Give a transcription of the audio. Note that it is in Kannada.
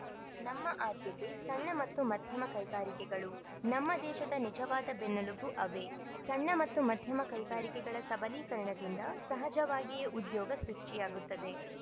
ನಮ್ಮ ಆದ್ಯತೆ ಸಣ್ಣ ಮತ್ತು ಮಧ್ಯಮ ಕೈಗಾರಿಕೆಗಳು ನಮ್ಮ ದೇಶದ ನಿಜವಾದ ಬೆನ್ನುಲುಬು ಅವೇ ಸಣ್ಣ ಮತ್ತು ಮಧ್ಯಮ ಕೈಗಾರಿಕೆಗಳ ಸಬಲೀಕರಣದಿಂದ ಸಹಜವಾಗಿಯೇ ಉದ್ಯೋಗ ಸೃಷ್ಟಿಯಾಗುತ್ತದೆ